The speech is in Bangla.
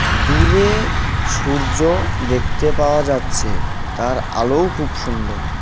দূরে সূর্য দেখতে পাওয়া যাচ্ছে তার আলোও খুব সুন্দর .